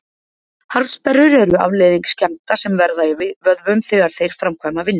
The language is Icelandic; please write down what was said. Harðsperrur eru afleiðing skemmda sem verða í vöðvum þegar þeir framkvæma vinnu.